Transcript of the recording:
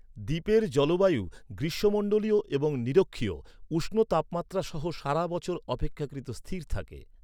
দ্বীপের জলবায়ু গ্রীষ্মমন্ডলীয় এবং নিরক্ষীয়, উষ্ণ তাপমাত্রা সহ সারা বছর অপেক্ষাকৃত স্থির থাকে।